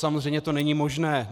Samozřejmě to není možné.